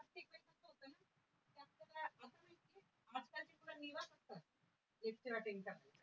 lecture attend